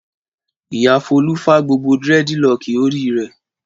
Ìyá Folú fá gbogbo dẹ́rẹ́dilọkì orí rẹ̀.